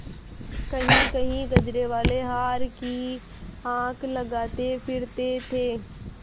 कहींकहीं गजरेवाले हार की हाँक लगाते फिरते थे